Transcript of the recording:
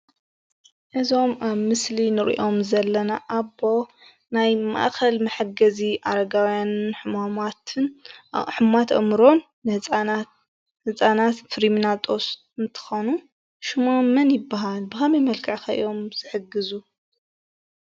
እዞም ኣብ ምስሊ እንሪኦም ዘለና ኣቦ ናይ ማእከል መሐገዚ ኣረጋዊያን ሕማማትን ኣብ ሕሙማት ኣእምሮ ህፃናት ፍሪምናጦስ እንትኮኑ ሽሞም መን ይባሃል? ብከመይ መልክዕ ከ እዮም ዝሕግዙ?